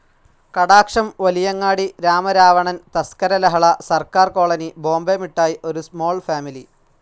Kadaksham, Valiyangadi, Ramaravanan, Thaskara Lahala, Sarkar colony, Bombay Mittayi, Oru small family